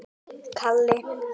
Hún orti meðal annars rímur.